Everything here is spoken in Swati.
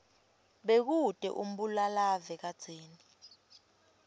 bekute umbulalave kadzeni